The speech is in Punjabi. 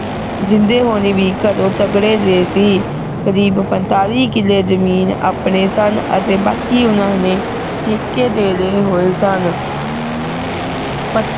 ਜਿੰਦੇ ਹੋਣੀ ਵੀ ਘਰੋਂ ਤਗੜੇ ਜੇ ਸੀ ਕਰੀਬ ਪੰਤਾਲੀ ਕਿੱਲੇ ਜ਼ਮੀਨ ਆਪਣੇ ਸਨ ਤੇ ਬਾਕੀ ਉਨ੍ਹਾਂ ਨੇ ਠੇਕੇ ਤੇ ਲਈ ਹੋਏ ਸਨ ਭੱਤੂ